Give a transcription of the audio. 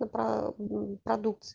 ты правда как